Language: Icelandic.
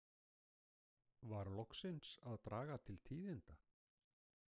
Var loksins að draga til tíðinda?